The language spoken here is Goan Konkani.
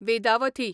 वेदावथी